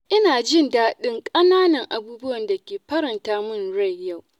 Ina jin dadin ƙananan abubuwan da ke faranta min rai yau.